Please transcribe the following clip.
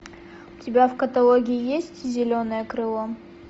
у тебя в каталоге есть зеленое крыло